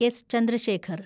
S. Chandrasekhar